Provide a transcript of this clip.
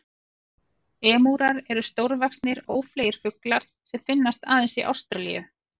Emúar eru stórvaxnir, ófleygir fuglar sem finnast aðeins í Ástralíu.